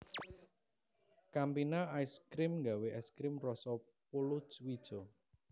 Campina Ice Cream nggawe es krim roso polowijo